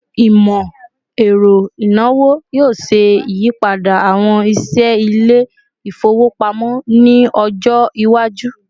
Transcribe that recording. Imọ-ẹrọ inawo yoo ṣe iyipada awọn iṣẹ ile-ifowopamọ ni ọjọ iwaju